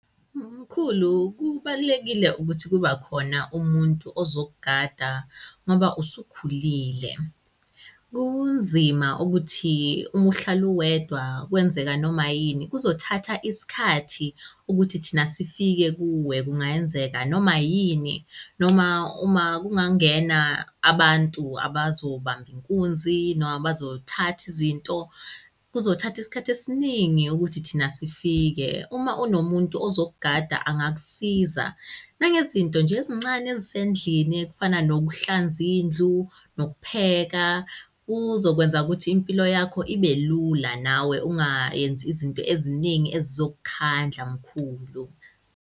Mkhulu, kubalulekile ukuthi kuba khona umuntu ozokugada ngoba usukhulile. Kunzima ukuthi uma uhlala uwedwa, kwenzeka noma yini kuzothatha isikhathi ukuthi thina sifike kuwe. Kungenzeka noma yini, noma uma kungangena abantu abazobamba inkunzi noma abazothatha izinto, kuzothatha isikhathi esiningi ukuthi thina sifike. Uma unomuntu ozokugada angakusiza nangezinto nje ezincane ezisendlini ekufana nokuhlanza indlu, nokupheka. Kuzokwenza ukuthi impilo yakho ibe lula, nawe ungayenzi izinto eziningi ezizokukhandla, mkhulu.